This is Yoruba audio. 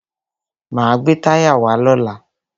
Máa gbé táyà wá lọ́la.